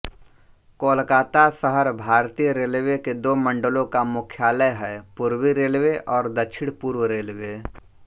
कोलकाता शहर भारतीय रेलवे के दो मंडलों का मुख्यालय है पूर्वी रेलवे और दक्षिणपूर्व रेलवे